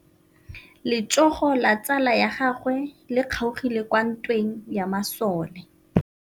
Letsôgô la tsala ya gagwe le kgaogile kwa ntweng ya masole.